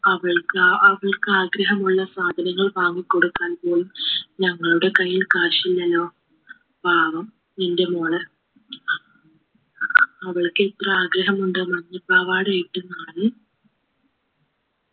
അവൾക്ക് അഹ് അവൾക്ക് ആഗ്രഹമുള്ള സാധനങ്ങൾ വാങ്ങിക്കൊടുക്കാൻ പോലും ഞങ്ങളുടെ കയ്യിൽ cash ഇല്ലല്ലോ പാവം ഇന്റെ മോള് അവൾക്ക് എത്ര ആഗ്രഹമുണ്ടെന്നോ മഞ്ഞ പാവാടയിട്ട് നടന്ന്